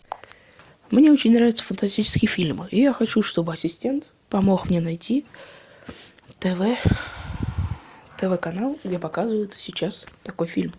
мне очень нравятся фантастические фильмы и я хочу чтобы ассистент помог мне найти тв тв канал где показывают сейчас такой фильм